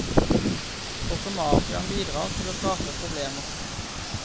Også mafiaen bidrar til å skape problemer.